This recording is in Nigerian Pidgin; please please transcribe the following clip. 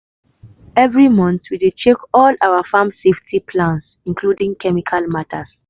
every month we dey check all our farm safety plans including chemical matter.